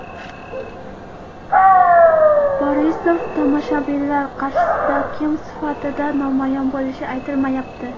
Borisov tomoshabinlar qarshisida kim sifatida namoyon bo‘lishi aytilmayapti.